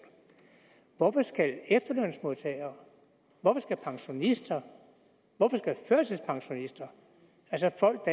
hvorfor skal efterlønsmodtagere hvorfor skal pensionister hvorfor skal førtidspensionister altså folk